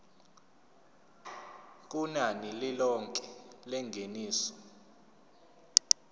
kunani lilonke lengeniso